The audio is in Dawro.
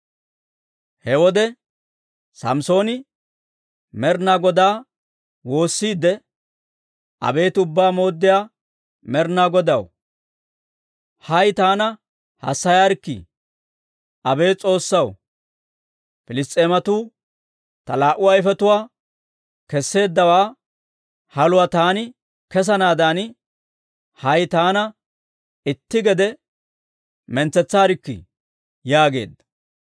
He wode Samssooni Med'inaa Godaa woossiidde, «Abeet Ubbaa Mooddiyaa Med'inaa Godaw, hay taana hassayaarkkii! Abeet S'oossaw, Piliss's'eematuu ta laa"u ayfetuwaa kesseeddawaa, haluwaa taani kessanaadan, hay taana itti gede mintsetsaarkkii!» yaageedda.